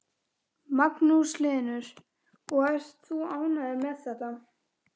Magnús Hlynur: Og ert þú ánægður með þetta?